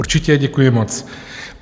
Určitě, děkuji moc.